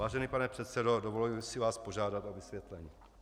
Vážený pane předsedo, dovolím si vás požádat o vysvětlení.